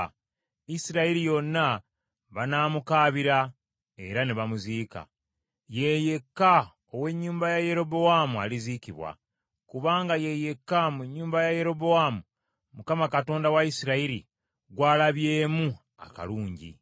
Isirayiri yonna banaamukaabira era ne bamuziika. Ye yekka ow’ennyumba ya Yerobowaamu aliziikibwa, kubanga ye yekka mu nnyumba ya Yerobowaamu Mukama Katonda wa Isirayiri, gw’alabyemu akalungi.